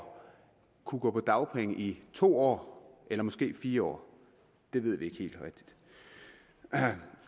kunne gå på dagpenge i to år eller måske fire år det ved vi ikke helt